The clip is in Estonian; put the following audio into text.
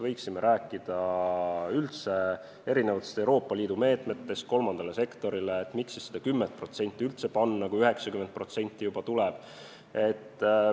Võiksime rääkida üldse Euroopa Liidu meetmetest kolmandale sektorile, miks siis seda 10% üldse panna, kui 90% juba tuleb.